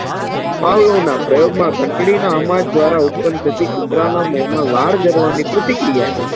પાવલોના પ્રયોગમાં ધંટડી અવાજ દ્વારા ઉત્પન્ન થતી કુતરાના મોમાં વાળ જાળવણી પ્રતિ ક્રિયા